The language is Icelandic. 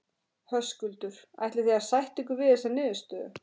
Höskuldur: Ætlið þið að sætta ykkur við þessa niðurstöðu?